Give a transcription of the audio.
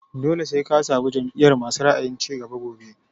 Dole sai ka zaɓi jam'iyar masu ra'ayin cigaba.